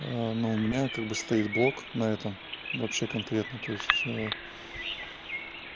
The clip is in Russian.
ну у меня как бы стоит блок на этом вообще конкретно то есть